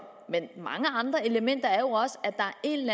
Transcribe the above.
men mange andre elementer er jo også at der er en